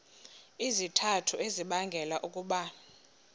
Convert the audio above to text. izizathu ezibangela ukuba